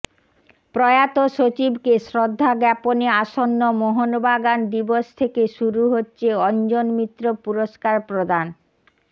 প্রয়াত সচিবকে শ্রদ্ধাজ্ঞাপনে আসন্ন মোহনবাগান দিবস থেকে শুরু হচ্ছে অঞ্জন মিত্র পুরস্কার প্রদান